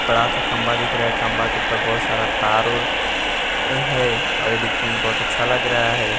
बड़ा सा खंभा दिख रहा है खंभा के ऊपर बहोत सारा तार ओर है और दिखने में बहोत अच्छा लग रहा है।